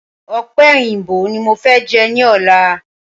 Ọ̀pẹ̀yìnbo ni mofẹ jẹ ni ọ̀la.